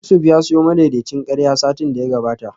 Yusuf ya siyo madaidaicin karya satin da ya gabata